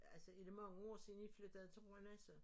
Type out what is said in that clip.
Altså er det mange år siden i flyttede til Rønne så